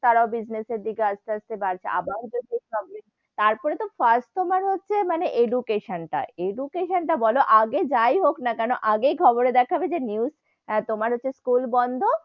তারাও business এর দিকে আস্তে আস্তে বাড়ছে, আবার যদি problem তারপরে তো first তোমার হচ্ছে education টা, education টা বোলো আগে যাই হোক না কেনো আগেই খবরে এ দেখাবে যে news তোমার হচ্ছে স্কুল বন্ধ,